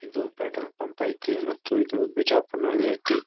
ಇದು petrol pump ಐತಿ ಮತ್ತು ಇದು ಬಿಜಾಪುರ್ ನಲ್ಲಿ ಐತಿ.